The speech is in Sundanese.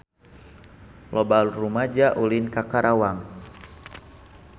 Loba rumaja ulin ka Karawang